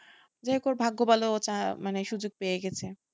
যাই হোক ভাগ্য ভালো ও মানে সুযোগ পেয়ে গেছে,